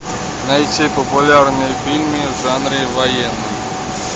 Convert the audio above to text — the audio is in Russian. найти популярные фильмы в жанре военный